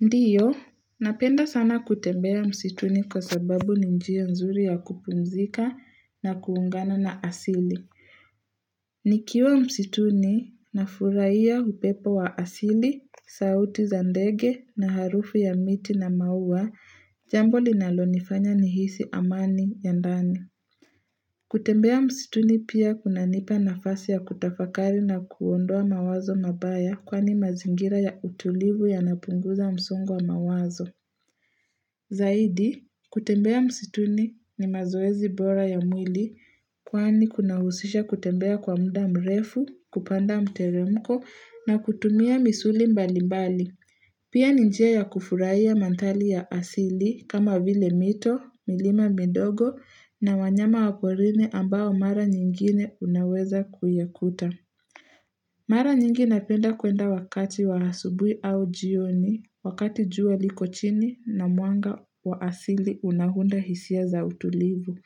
Ndiyo, napenda sana kutembea msituni kwa sababu ni njia nzuri ya kupumzika na kuungana na asili. Nikiwa msituni nafurahia upepo wa asili, sauti za ndege na harufu ya miti na maua, jambo linalonifanya nihisi amani ya ndani. Kutembea msituni pia kunanipa nafasi ya kutafakari na kuondoa mawazo mabaya, kwani mazingira ya utulivu yanapunguza msongo wa mawazo. Zaidi, kutembea msituni ni mazoezi bora ya mwili, kwani kuna husisha kutembea kwa muda mrefu, kupanda mteremko na kutumia misuli mbali mbali. Pia ni njia ya kufurahia mandhari ya asili kama vile mito, milima midogo na wanyama wa porini ambao mara nyingine unaweza kuyakuta. Mara nyingi napenda kuenda wakati wa asubui au jioni, wakati jua liko chini na mwanga wa asili unaunda hisia za utulivu.